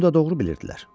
Bunu da doğru bilirdilər.